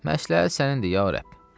Məsləhət sənindir, ya Rəbb.